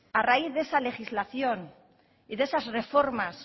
a raíz de esa legislación y de esas reformas